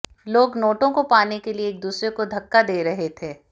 लोग नोटों को पाने के लिए एक दूसरे को धक्का दे रहे थे